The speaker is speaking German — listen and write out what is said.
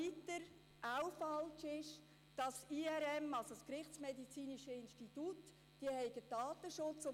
Drittens ist auch falsch, dass das IRM dem Datenschutz unterstehe.